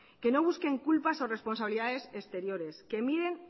que no busquen culpas o responsabilidades exteriores que miren